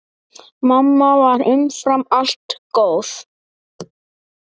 Mamma var umfram allt góð.